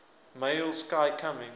male sky coming